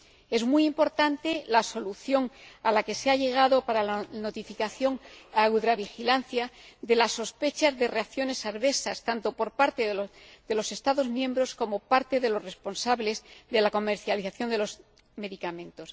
Es muy importante la solución a la que se ha llegado para la notificación a la base de datos Eudravigilance de la sospecha de reacciones adversas, tanto por parte de los Estados miembros como por parte de los responsables de la comercialización de los medicamentos.